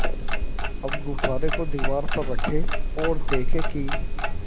अब गुब्बारे को दीवार पर रखें ओर देखें कि